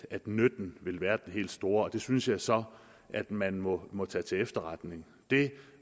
nytten vil være den helt store det synes jeg så at man må må tage til efterretning det